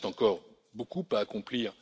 Il reste encore beaucoup à accomplir.